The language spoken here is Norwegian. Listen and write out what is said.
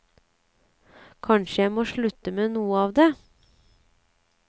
Kanskje må jeg slutte med noe av det.